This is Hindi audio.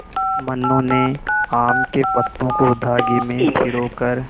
मनु ने आम के पत्तों को धागे में पिरो कर